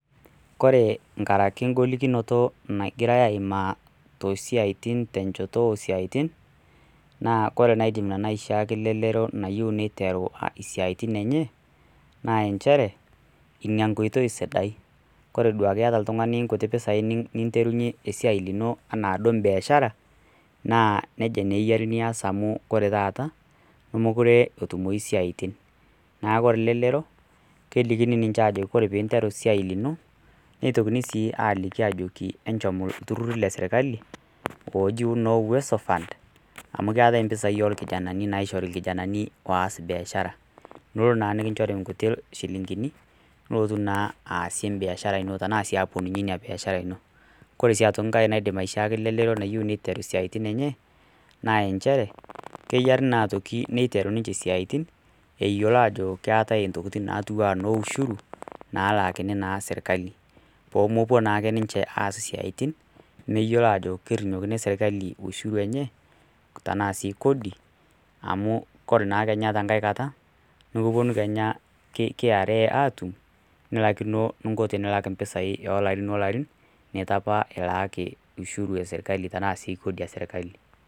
kore nkaeraki ingolikinoto nagirai aaimaa too siaitin te enchoto o isiaitin, naakore nanu entoki naidim aishaa elelero nayiou neiteru isiaitin enye, naa enchere ina enkoitoi sidai, Kore duake iata oltungani inkuti pesai niterunye esiai ino naijoiye biashara naa eyiare nias amu ore taata, nemokore etumoyu isiaitin, neaku ore elelero, kelikini ninche ajoki kore pee interu esiai lino, neitokini sii ajoki enchom oltururr le serkali ooji noo Uwezo Fund, amu keatai impessai o lkijanani naishori ilkijananin oas biashara, tenelo naa nikinchori inkuti shilingini, nilotu naa aasie embiashara ino, tanaa sii aaponunye biashara ino. Koree sii ankai naidim aishaaki elelero nayioou neiteru isiatin enye, naa enchere, keyare naa keiteru ninche isiaitin eyiolo aajokeatai intokitin naijo noo ushuru, nalaakini naa serkali, pee mepuo naa ninche aas esiaitin meyiolo aajo kerinyokini serkali inkishu enye tana sii kodi, amu koree naa ninye tenkai kata nekipuonu kenya KRA aatum, nilaikino eninko pee ilak impisai o ilarin o ilarin, neitu opa ilaaki serkali tana sii kodi e sirkali.